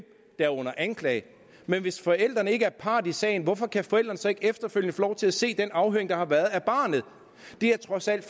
er under anklage men hvis forældrene ikke er part i sagen hvorfor kan forældrene så ikke efterfølgende få lov til at se den afhøring der har været af barnet det er trods alt